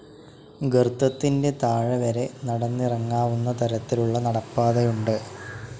ഗർത്തത്തിൻ്റെ താഴെ വരെ നടന്നിറങ്ങാവുന്ന തരത്തിലുള്ള നടപ്പാതയുണ്ട്.